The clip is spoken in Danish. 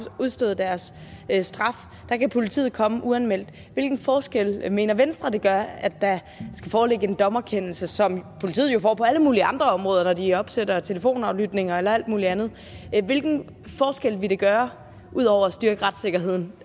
udstået deres straf og her kan politiet komme uanmeldt hvilken forskel mener venstre det gøre at der skal foreligge en dommerkendelse som politiet jo får på alle mulige andre områder når de opsætter telefonaflytning eller alt muligt andet hvilken forskel ville det gøre ud over at styrke retssikkerheden